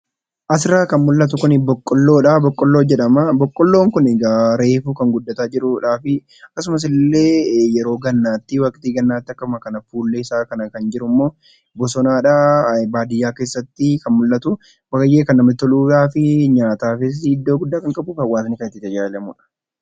Asirraa kan mul'atu kun boqqoolloodha. Boqqoolloon kun egaa reefu kan guddachaa jirudhaa fi akkasumallee waqtii gannaatti akkasuma fuulleesaa kana kan jirummoo bosonadha. Baadiyyaa keessatti kan mul'atuu fi kan namatti toluu fi nyaataafis iddoo guddaa kan qabuu fi hawaasni kan itti fayyadamudha.